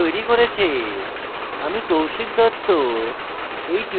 আমি কৌশিক দত্ত এই টিউটোরিয়ালটি অনুবাদ করেছি